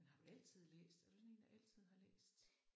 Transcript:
Men har du altid læst? Er du sådan en der altid har læst?